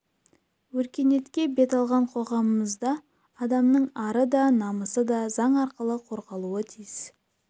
өркениетке бет алған қоғамымызда адамның ары да намысы да заң арқылы қорғалуы тиіс